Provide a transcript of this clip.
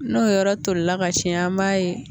N'o yɔrɔ tolila ka ci an b'a ye